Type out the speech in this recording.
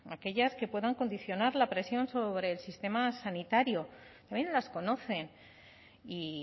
aquellas que puedan condicionar la presión sobre el sistema sanitario también las conoce y